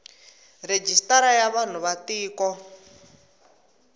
rejistara ya vanhu va tiko